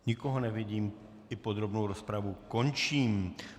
Nikoho nevidím, i podrobnou rozpravu končím.